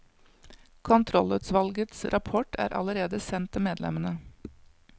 Kontrollutvalgets rapport er allerede sendt til medlemmene.